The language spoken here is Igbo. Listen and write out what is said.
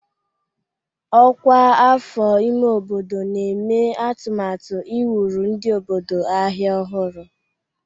Ọkwa afọ ime obodo na-eme atụmatụ iwuru ndị obodo ahịa ọhụrụ.